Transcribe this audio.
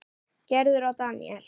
Gerður og Daníel.